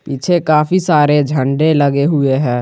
पीछे काफी सारे झंडे लगे हुए हैं।